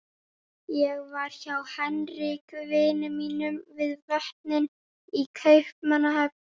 Ég var hjá Henrik vini mínum við Vötnin í Kaupmannahöfn.